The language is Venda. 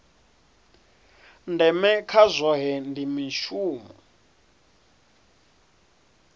ndeme kha zwohe ndi mushumo